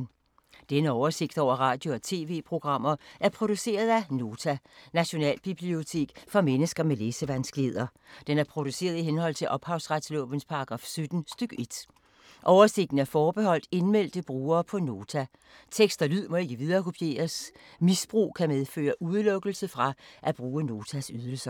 Denne oversigt over radio og TV-programmer er produceret af Nota, Nationalbibliotek for mennesker med læsevanskeligheder. Den er produceret i henhold til ophavsretslovens paragraf 17 stk. 1. Oversigten er forbeholdt indmeldte brugere på Nota. Tekst og lyd må ikke viderekopieres. Misbrug kan medføre udelukkelse fra at bruge Notas ydelser.